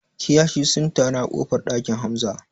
Kiyashi sun taru a ƙofar ɗakin Hamza